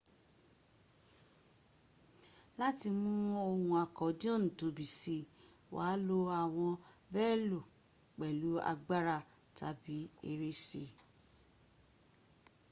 láti mú ohun akodioni tóbi si wàá lò àwọn belò pẹ̀lú agbára tàbí ere sí i